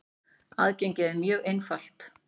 Aðgengið er mjög einfalt.